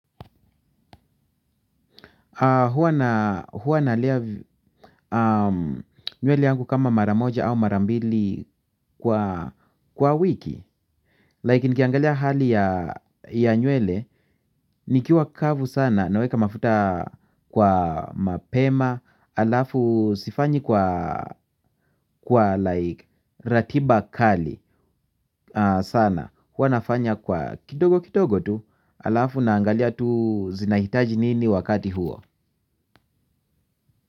Huwa nalea nywele yangu kama mara moja au mara mbili kwa wiki Like nikiangalia hali ya nywele nikiwa kavu sana naweka mafuta kwa mapema halafu sifanyi kwa like ratiba kali sana huwa nafanya kwa kidogo kidogo tu. Halafu naangalia tu zinahitaji nini wakati huo.